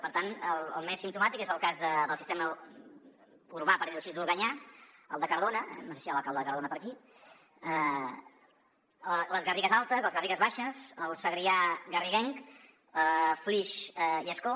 per tant el més simptomàtic és el cas del sistema urbà per dir ho així d’organyà el de cardona no sé si hi ha l’alcalde de cardona per aquí les garrigues altes les garrigues baixes el segrià garriguenc flix i ascó